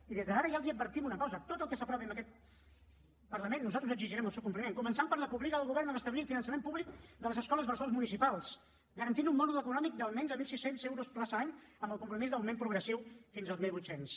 i des d’ara ja els advertim una cosa de tot el que s’aprovi en aquest parlament nosaltres exigirem el seu compliment començant per la que obliga el govern a restablir el finançament públic de les escoles bressols municipals i garantir un mòdul econòmic d’almenys mil sis cents euros plaça any amb el compromís d’augment progressiu fins als mil vuit cents